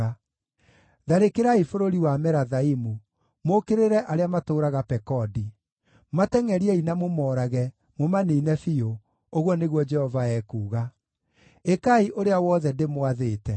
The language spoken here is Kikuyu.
“Tharĩkĩrai bũrũri wa Merathaimu, mũũkĩrĩre arĩa matũũraga Pekodi. Matengʼeriei, na mũmoorage, mũmaniine biũ,” ũguo nĩguo Jehova ekuuga. “Ĩkai ũrĩa wothe ndĩmwathĩte.